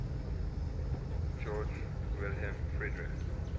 georg wilhelm friedrich